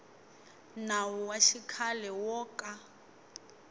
nawu wa xikhale wo ka